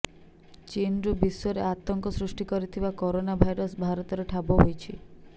ଚୀନରୁ ବିଶ୍ୱରେ ଆତଙ୍କ ସୃଷ୍ଟି କରିଥିବା କରୋନା ଭାଇରସ୍ ଭାରତରେ ଠାବ ହୋଇଛି